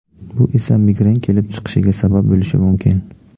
Bu esa migren kelib chiqishiga sabab bo‘lishi mumkin.